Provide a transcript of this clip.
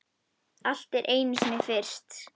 Allt er einu sinni fyrst.